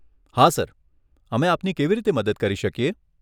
હા સર, અમે આપની કેવી રીતે મદદ કરી શકીએ?